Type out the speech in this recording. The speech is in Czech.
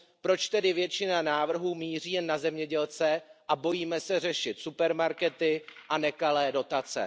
Proč tedy většina návrhů míří jen na zemědělce a bojíme se řešit supermarkety a nekalé dotace?